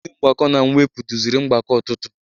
Onye nkụzi mgbakọ na mwepụ duziri mgbakọ ụtụtụ